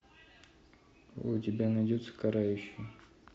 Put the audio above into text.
у тебя найдется карающий